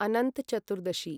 Anant Chaturdashi